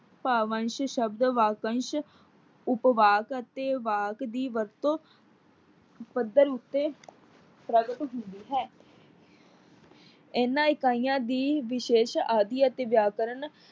ਭਾਵਅੰਸ਼ ਸ਼ਬਦ ਵਾਕਅੰਸ਼ ਉਪਵਾਕ ਅਤੇ ਵਾਕ ਦੀ ਵਰਤੋਂ ਪੱਧਰ ਉਤੇ ਪ੍ਰਗਟ ਹੁੰਦੀ ਹੈ। ਇਹਨਾਂ ਇਕਾਈਆਂ ਦੀ ਵਿਸ਼ੇਸ ਆਦੀ ਅਤੇ ਵਿਆਕਰਨ